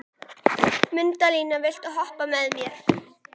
Mundína, viltu hoppa með mér?